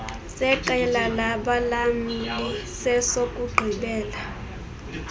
seqela labalamli sesokugqibela